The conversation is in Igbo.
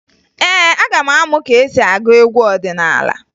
Ee, aga m amụ ka e si agụ egwu ọdịnaala